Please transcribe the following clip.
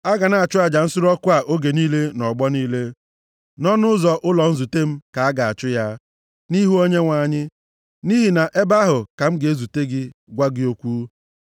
“A ga na-achụ aja nsure ọkụ a oge niile nʼọgbọ niile, nʼọnụ ụzọ ụlọ nzute m ka a ga-achụ ya, nʼihu Onyenwe anyị. Nʼihi nʼebe ahụ ka m ga-ezute gị gwa gị okwu.